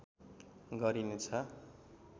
गरिने छ